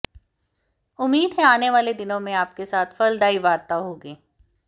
उम्मीद है आने वाले दिनों में आपके साथ फलदायी वार्ता होगी